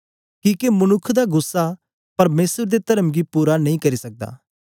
किके मनुक्ख दा गुस्सा परमेसर दे तर्म गी पूरा नेई करी सकदा